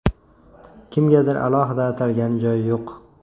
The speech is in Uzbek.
Kimgadir alohida atalgan joyi yo‘q.